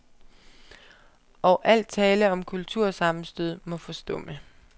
Og al tale om kultursammenstød må forstumme.